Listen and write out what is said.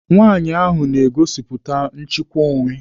Nwaanyị ahụ na-egosipụta nchịkwa onwe.